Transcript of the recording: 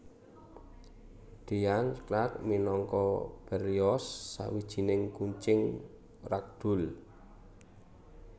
Dean Clark minangka Berlioz Sawijining kucing ragdoll